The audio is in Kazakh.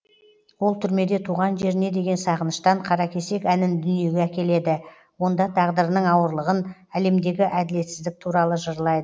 ол түрмеде туған жеріне деген сағыныштан қаракесек әнін дүниеге әкеледі онда тағдырының ауырлығын әлемдегі әділетсіздік туралы жырлайды